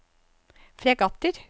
fregatter